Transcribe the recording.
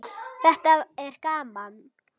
Þetta er hann.